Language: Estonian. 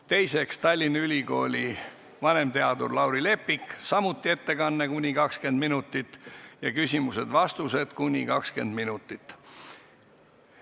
Teiseks, Tallinna Ülikooli vanemteadur Lauri Leppik, samuti ettekanne kuni 20 minutit ja küsimused-vastused kuni 20 minutit.